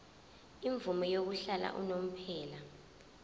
imvume yokuhlala unomphela